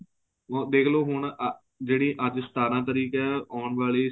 ਉਹ ਦੇਖਲੋ ਹੁਣ ਅਹ ਜਿਹੜੀ ਅੱਜ ਸਤਾਰਾਂ ਤਰੀਕ ਏ ਆਉਣ ਵਾਲੀ